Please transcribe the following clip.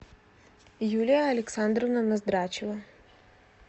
юлия александровна ноздрачева